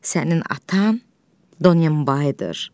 Sənin atan Donenbaydır.